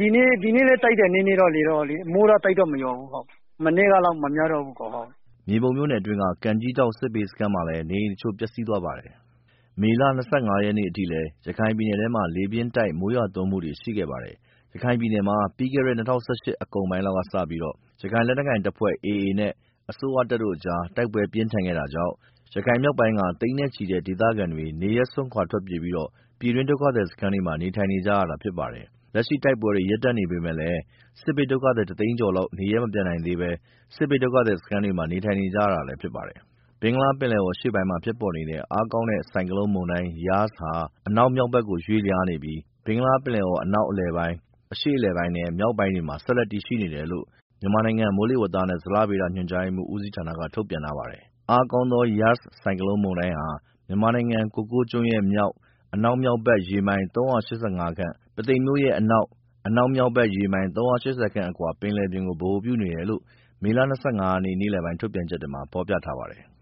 ဒီနေ့လည်း လေတော့ နည်းနည်း တိုက်သေးတယ်။ မိုးတော့ မရွာတော့ဘူး။လေတိုက်တာလည်း မနေ့က လောက်မများ တော့ ဘူးဟုတ်။” မြေပုံမြို့နယ်အတွင်းက ကန်းထောင့်ကြီး စစ်ဘေးစခန်းမှာလည်း နေအိမ်တစ်ချို့ ပျက်စီးသွားပါတယ်။ မေလ ၂၅ ရက်နေ့အထိလည်း ရခိုင်ပြည်နယ်ထဲမှာ လေးပြင်းတိုက် မိုးရွာသွန်းမှုတွေ ရှိခဲ့ပါတယ်။ ရခိုင်ပြည်နယ်မှာ ပြီးခဲ့တဲ့ ၂၀၁၈ အကုန်ပိုင်းလောက်က စပြီး ရခိုင်လက်နက်ကိုင်အေအေအဖွဲ့နဲ့ အစိုးရတပ်တို့ကြား တိုက်ပွဲပြင်းထန်ခဲ့တာကြောင့် ရခိုင်မြောက်ပိုင်းက သိန်းနဲ့ ချီတဲ့ဒေသခံတွေ နေရပ်စွန့်ခွာ ထွက်ပြေးပြီး ပြည်တွင်းဒုက္ခသည်စခန်းတွမှာ နေထိုင်နေကြရတာဖြစ်ပါတယ်။ လက်ရှိမှာ တိုက်ပွဲတွေ ရပ်တန့်နေပေမဲ့လည်း စစ်ဘေးဒုက္ခသည်တစ်သိန်းကျော်လောက် နေရပ်မပြန်နိုင်သေးပဲ စစ်ဘေးဒုက္ခသည်စခန်းတွေမှာ နေထိုင်နေကြရတာလည်းဖြစ်ပါတယ်။ ဘင်္ဂလားပင်လယ်အော်အရှေ့အလယ်ပိုင်းမှာ ဖြစ်ပေါ်နေတဲ့ အားကောင်းတဲ့ ဆိုက်ကလုန်း မုန်တိုင်း ယာစ် Yaas ဟာ အနောက်မြောက် ဖက်ကို ရွေ့လျားနေပြီး ဘင်္ဂလားပင်လယ်အော် အနောက် အလယ်ပိုင်း၊ အရှေ့အလယ်ပိုင်းနဲ့ မြောက်ပိုင်းတို့မှာ ဆက်လက်တည်ရှိနေတယ်လို့ မြန်မာနိုင်ငံမိုးလေဝသနဲ့ ဇလညေဗေဒညွှန်ကြား မှူးဦးစီးဌာနက ထုတ်ပြန်ထားပါတယ်။ အားကောင်းသော Yaas ဆိုင်ကလုန်းမုန်တိုင်းဟာ မြန်မာနိုင်ငံ၊ ကိုကိုးကျွန်းမြို့ရဲ့ မြောက်-အနောက်မြောက် ဘက် ရေမိုင် ခန့်၊ ပုသိမ် မြို့ရဲ့အနောက်-အနောက်မြောက်ဘက် ရေမိုင် ခန့် အကွာပင်လယ်ပြင်ကို ဗဟိုပြုနေတယ်လို့ မေလ ၂၅ ရက် နေ့လည်ပိုင်း ထုတ်ပြန်ချက်မှာ ဖော်ပြထားပါတယ်။